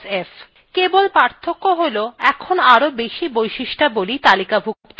কেবল পার্থক্য হল এখন আরও বেশি বৈশিষ্ট্যাবলী তালিকাভুক্ত করা হয়েছে